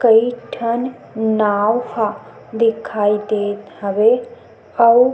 कई ठन नाव ह दिखाई देत हवे अउ --